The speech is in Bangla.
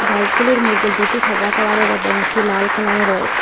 বাইকগুলির মইদ্যে দুটি সাদা কালারের এবং একটি লাল কালারের রয়েচে।